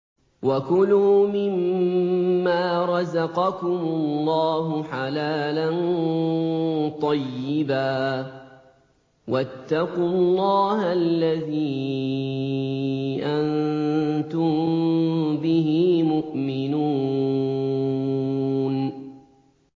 وَكُلُوا مِمَّا رَزَقَكُمُ اللَّهُ حَلَالًا طَيِّبًا ۚ وَاتَّقُوا اللَّهَ الَّذِي أَنتُم بِهِ مُؤْمِنُونَ